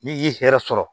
N'i yi hɛrɛ sɔrɔ